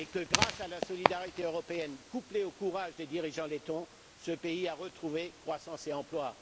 Grâce à la solidarité européenne, couplée au courage de ses dirigeants, ce pays a retrouvé croissance et emploi.